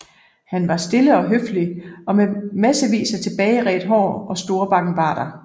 Han var stille og høflig og med massevis af tilbageredt hår og store bakkenbarter